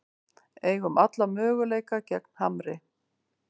Eigum alla möguleika gegn Hamri